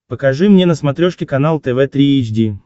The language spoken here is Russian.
покажи мне на смотрешке канал тв три эйч ди